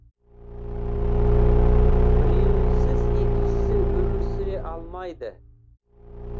біреуінсіз екіншісі өмір сүре алмайды